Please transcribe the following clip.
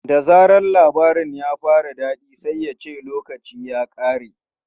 Da zaran labarin ya fara daɗi sai ya ce 'lokaci ya ƙare!'